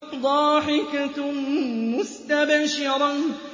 ضَاحِكَةٌ مُّسْتَبْشِرَةٌ